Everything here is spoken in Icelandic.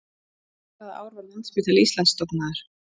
Hvaða ár var Landspítali Íslands stofnaður?